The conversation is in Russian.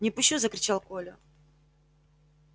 не пущу закричал коля